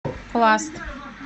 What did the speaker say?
пласт